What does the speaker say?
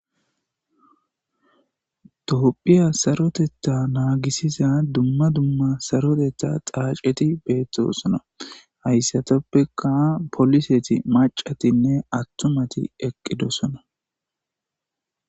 dophiya saroteta naagisiza dumma dumma sarotetha dhaaceti beettosona hayssatoppeka poliseti macatinne attumati eqqidosona